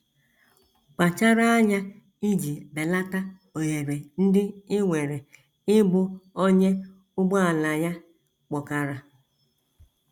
Kpachara anya iji belata ohere ndị i nwere ịbụ onye ụgbọala ya kpọkara.